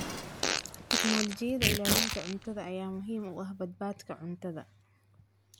Tignoolajiyada ilaalinta cuntada ayaa muhiim u ah badbaadada cuntada.